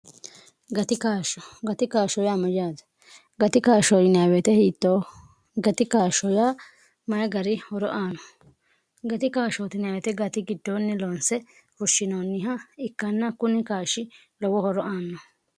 gati kaashsho gati kaashsho yaa mojaaja gati kaashshoonwete hiitoo gati kaashsho yaa mayi gari horo aano gati kaashootnweete gati giddoonni loonse fushshinoonniha ikkanna kuni kaashi lowo horo aanno